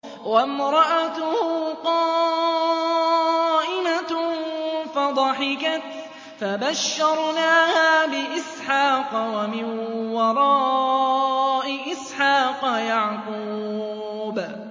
وَامْرَأَتُهُ قَائِمَةٌ فَضَحِكَتْ فَبَشَّرْنَاهَا بِإِسْحَاقَ وَمِن وَرَاءِ إِسْحَاقَ يَعْقُوبَ